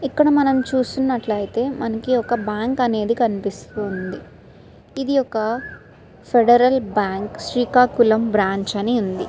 ఇక్కడ చూసుకున్నట్లయితే మనకి ఒక బ్యాంక్ అనేది కనిపిస్తూ ఉంది. ఇది ఒక ఫెడరల్ బ్యాంకు శ్రీకాకుళం బ్రాంచ్ అని ఉంది.